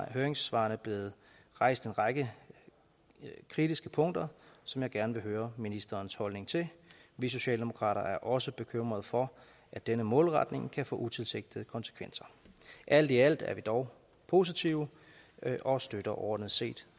i høringssvarene blevet rejst en række kritiske punkter som jeg gerne høre ministerens holdning til vi socialdemokrater er også bekymrede for at denne målretning kan få utilsigtede konsekvenser alt i alt er vi dog positive og støtter overordnet set